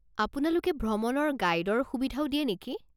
আপোনালোকে ভ্ৰমণৰ গাইডৰ সুবিধাও দিয়ে নেকি?